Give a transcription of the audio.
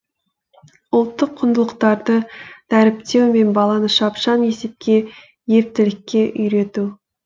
ұлттық құндылықтарды дәріптеу мен баланы шапшаң есепке ептілікке үйрету